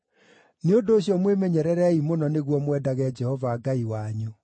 Nĩ ũndũ ũcio mwĩmenyererei mũno nĩguo mwendage Jehova Ngai wanyu.